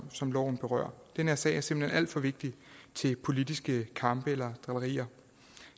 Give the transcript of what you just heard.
som loven berører den her sag er simpelt hen alt for vigtig til politiske kampe eller drillerier